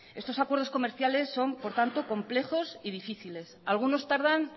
estos acuerdos comerciales son por tanto complejos y difíciles algunos tardan